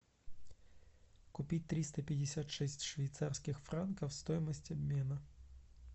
купить триста пятьдесят шесть швейцарских франков стоимость обмена